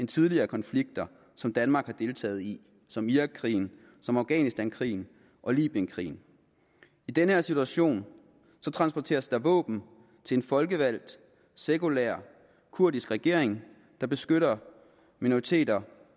tidligere konflikter som danmark har deltaget i som irakkrigen afghanistankrigen og libyenkrigen i den her situation transporteres der våben til en folkevalgt sekulær kurdisk regering der beskytter minoriteter